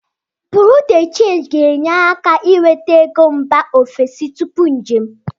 Buru de Change ga-enyere aka inweta ego mba ofesi tupu njem.